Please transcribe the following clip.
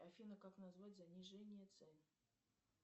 афина как назвать занижение цен